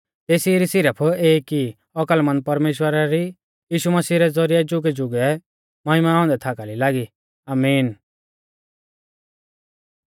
तेसी री सिरफ एक ई औकलमंद परमेश्‍वरा री यीशु मसीह रै ज़ौरिऐ जुगैजुगै महिमा औन्दै थाकाली लागी आमीन